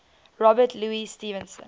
robert louis stevenson